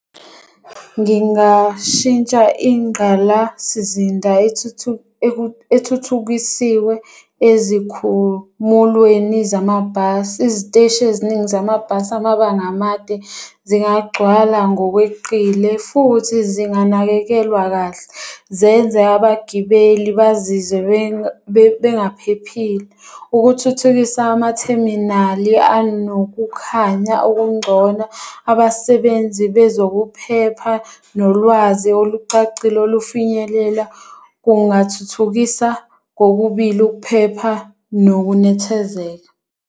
Ngingashintsha ingqalasizinda ethuthukisiwe ezikhumulweni zamabhasi. Iziteshi eziningi zamabhasi amabanga amade zingagcwala ngokweqile futhi zinganakekelwa kahle. Zenze abagibeli bazizwe bengaphephile. Ukuthuthukisa amatheminali anokukhanya okungcono. Abasebenzi bezokuphepha nolwazi olucacile olufinyelela kungathuthukisa kokubili ukuphepha nokunethezeka.